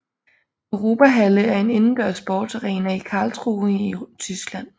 Europahalle er en indendørs sportsarena i Karlsruhe i Tyskland